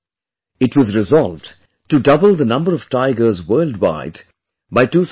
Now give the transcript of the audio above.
It was resolved to double the number of tigers worldwide by 2022